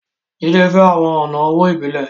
Jídé fẹ́ àwọn ọ̀nà owó ìbílẹ̀